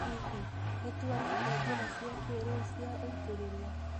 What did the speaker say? Hihi, nĩ tuonete njĩra cia kĩrĩu cia ũitĩrĩria?